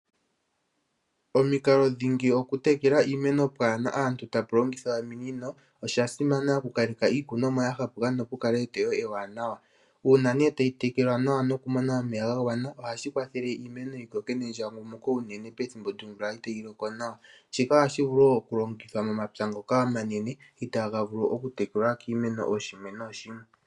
Omikalo dhingi dhokutekela iimeno pwaana aantu, okulongitha ominino. Osha simana okukaleka iikunomwa ya hapuka nokukaleka eteyo ewanawa. Uuna tayi tekelwa nawa nokumona omeya gagwana, ohashi kwathele iimeno yikoke nendjangumuko, unene tuu pethimbo lyomvula itaayiloko nawa. Shika ohavulu wo okulongithwa momapya ngoka omanene, itaa gavulu okutekelwa kiimeno kooshimwe nooshimwe.